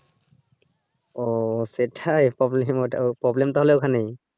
ও সেটাই problem তাহলে ওখানেই